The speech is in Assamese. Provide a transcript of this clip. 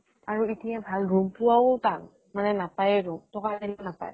আৰু ইতিয়া ভাল room পোৱাও টান। মানে নাপায়ে room, টকা দিলেও নাপায় room